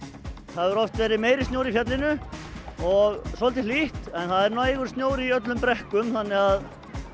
það hefur oft verið meiri snjór í fjallinu og svolítið hlýtt en það er nægur snjór í brekkum þannig að